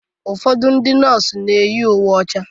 Ụfọdụ ndị nọọsụ na-eyi uwe ọcha